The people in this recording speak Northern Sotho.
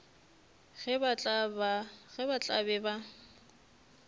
ge ba tla be ba